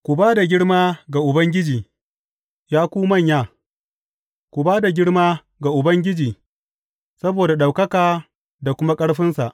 Ku ba da girma ga Ubangiji, ya ku manya, ku ba da girma ga Ubangiji saboda ɗaukaka da kuma ƙarfinsa.